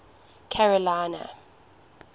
carolina